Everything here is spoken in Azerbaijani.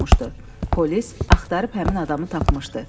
Polis axtarıb həmin adamı tapmışdı.